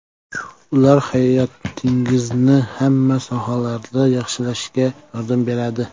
Ular hayotingizni hamma sohalarda yaxshilashga yordam beradi.